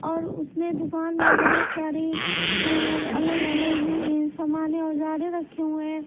और उसने दुकान में बहुत सारी अ अलग-अलग अ सामानें औजारें रखे हुए हैं।